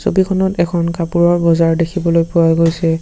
ছবিখনত এখন কাপোৰৰ বজাৰ দেখিবলৈ পোৱা গৈছে।